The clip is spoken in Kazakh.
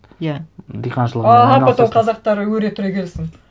иә диқаншылығыңмен айналысасың аха потом қазақтар өре түре келсін